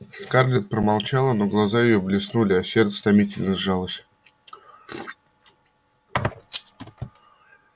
скарлетт промолчала но глаза её блеснули а сердце томительно сжалось